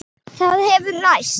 Það hefur ræst.